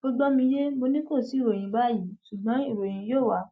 ó gbọ mi yé mo ní kò sí ìròyìn báyìí ṣùgbọn ìròyìn yóò wà